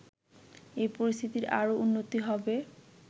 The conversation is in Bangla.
এ পরিস্থিতির আরও উন্নতি হবে